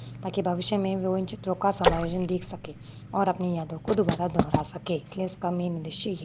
ताकि वो भविष्य वो इन चित्रों समायोजन देख सके और अपनी यादों को दुबारा दोहरा सके इसलिए उसका मेन उद्देश्य ये--